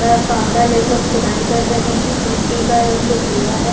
फावड़ा लेकर खुदाई कर रहे है मिट्टी का रंग जो भूरा हैं।